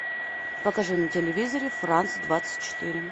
покажи на телевизоре франц двадцать четыре